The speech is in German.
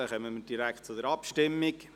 Somit kommen wir direkt zur Abstimmung.